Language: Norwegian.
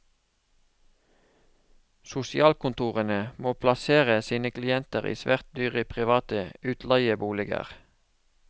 Sosialkontorene må plassere sine klienter i svært dyre private utleieboliger.